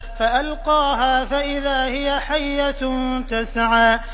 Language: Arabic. فَأَلْقَاهَا فَإِذَا هِيَ حَيَّةٌ تَسْعَىٰ